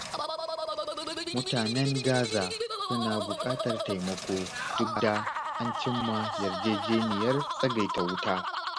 Mutanen Gaza suna buƙatar taimako duk da an cim ma yarjeniyar tsagaita wuta.